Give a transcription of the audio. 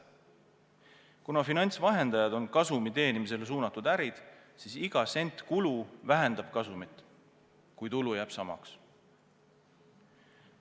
Kuna finantsvahendajad on kasumi teenimisele suunatud ärid, siis iga sent kulu vähendab kasumit, kui tulu jääb samaks.